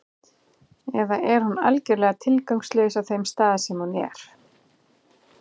Eða er hún algjörlega tilgangslaus á þeim stað sem hún er?